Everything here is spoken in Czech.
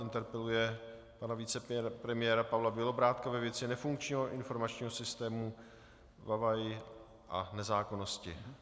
Interpeluje pana vicepremiéra Pavla Bělobrádka ve věci nefunkčního informačního systému VaVaI a nezákonnosti.